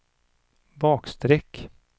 bakstreck